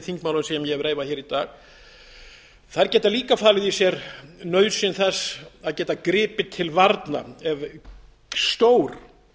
þingmálum sem ég hef reifað hér í dag þær geta líka falið í sér nauðsyn þess að geta gripið til varna ef stór